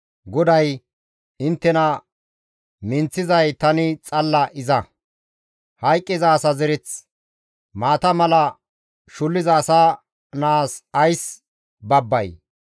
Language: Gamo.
GODAY, «Inttena minththizay Tani xalla Iza; hayqqiza asa zereth, maata mala shulliza asa naas ays babbay?